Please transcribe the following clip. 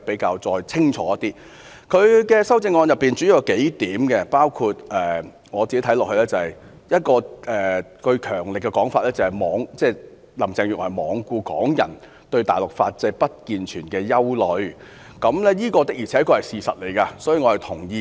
我看到她的修正案主要有數點，包括一個強而有力的說法，就是林鄭月娥罔顧港人對大陸法制不健全的憂慮，這確是事實，所以我是認同的。